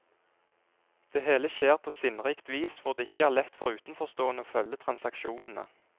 Det hele skjer på sinnrikt vis, hvor det ikke er lett for utenforstående å følge transaksjonene.